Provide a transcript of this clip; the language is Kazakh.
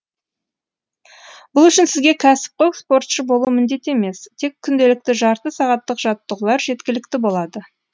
бұл үшін сізге кәсіпқой спортшы болу міндет емес тек күнделікті жарты сағаттық жаттығулар жеткілікті болады